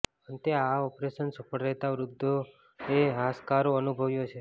અંતે આ ઓપરેશન સફળ રહેતા વૃધ્ધાએ હાશકારો અનુભવ્યો છે